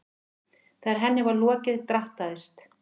Þegar henni var lokið drattaðist